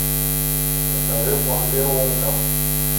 закажи пломбир умка